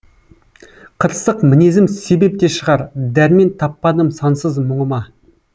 қырсық мінезім себеп те шығар дәрмен таппадым сансыз мұңыма